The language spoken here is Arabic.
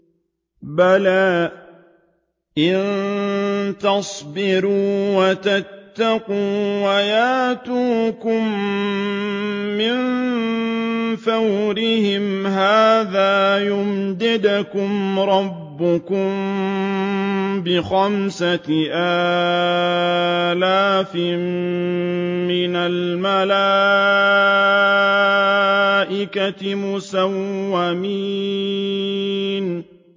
بَلَىٰ ۚ إِن تَصْبِرُوا وَتَتَّقُوا وَيَأْتُوكُم مِّن فَوْرِهِمْ هَٰذَا يُمْدِدْكُمْ رَبُّكُم بِخَمْسَةِ آلَافٍ مِّنَ الْمَلَائِكَةِ مُسَوِّمِينَ